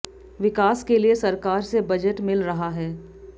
विकास के लिए सरकार से बजट मिल रहा है